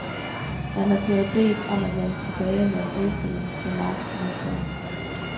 Han er blevet bedt om at vende tilbage med en udstilling til marts næste år.